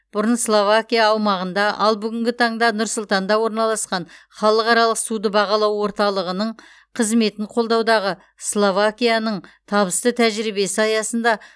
бұрын словакия аумағында ал бүгінгі таңда нұр сұлтанда орналасқан халықаралық суды бағалау орталығының қызметін қолдаудағы словакияның табысты тәжірибесі аясында